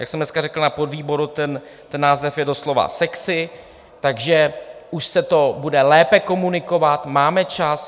Jak jsem dneska řekl na podvýboru, ten název je doslova sexy, takže už se to bude lépe komunikovat, máme čas.